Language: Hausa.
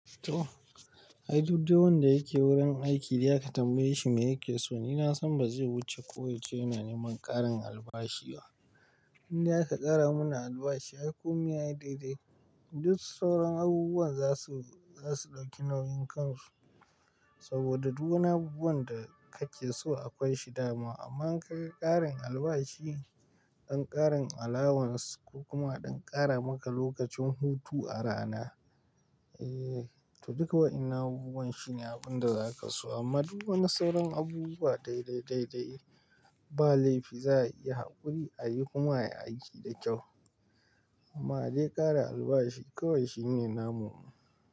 To, ai duk dai wanda yake wurin aiki dai aka tambaye shi me yake so, ni na san ba zai wuce ko ya ce yana neman ƙarin albashi ba. Inda aka ƙara mana albashi, aikun ya yi daidai. Duk sauran abubuwan za su, za su ɗauki nauyin kansu saboda duk wani abubuwan da kake so akwai shi dama. Amma ka ga ƙarin albashi, ɗan ƙarin allowance ko kuma ɗan ƙara maka lokacin hutu a rana, eh to duk wadanan abubuwan shine abun da za ka so. Amma duk wani sauran abubuwa daidai, daidai ba laifi za a iya haƙuri, a yi kuma ya aiki da kyau. Amma dai ƙara albashi kawai shine namu.